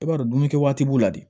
I b'a dɔn dumuni kɛ waati b'u la de